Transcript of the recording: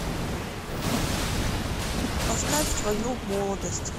поставь твою молодость